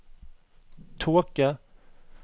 tåke